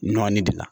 Nɔɔni bi na